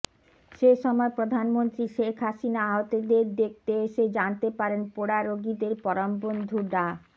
সে সময় প্রধানমন্ত্রী শেখ হাসিনা আহতদের দেখতে এসে জানতে পারেন পোড়া রোগীদের পরমবন্ধু ডা